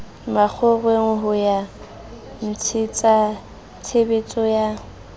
makgoweng ho ya ntshetsatshebetso ya